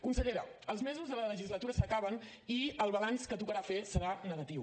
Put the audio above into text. consellera els mesos de la legislatura s’acaben i el balanç que tocarà fer serà negatiu